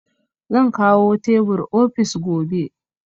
Zan kawo teburin ofis gobe